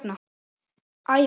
Æfum okkur.